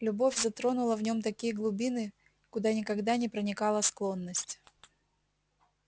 любовь затронула в нем такие глубины куда никогда не проникала склонность